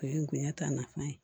O ye ngoya ta nafa ye